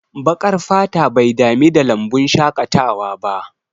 Baƙar fata bai dami da lambun shaƙatawa ba